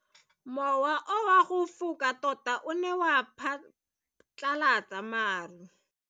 Mowa o wa go foka tota o ne wa phatlalatsa maru.